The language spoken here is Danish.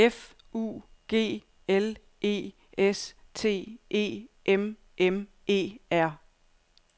F U G L E S T E M M E R